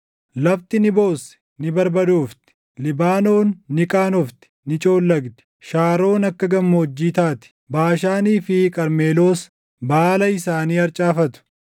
Lafti ni boossi; ni barbadoofti; Libaanoon ni qaanofti; ni coollagdi; Shaaroon akka gammoojjii taati; Baashaanii fi Qarmeloos baala isaanii harcaafatu.